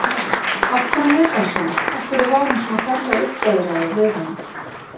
Af hverju lét hann svona, af hverju var hann svona ferlega uppveðraður við hana?